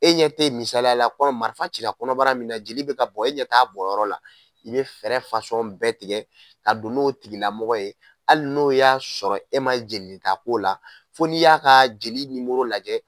E ɲɛ tɛ misaliya la marifa cila kɔnɔbara min na jeli bɛ ka bɔn e ɲɛ t'a bɔnyɔrɔ la i bɛ fɛɛrɛ bɛɛ tigɛ ka don n'o tigila mɔgɔ ye hali n'o y'a sɔrɔ e man jelininta k'o la fo n'i y'a ka jeli nimoro lajɛ.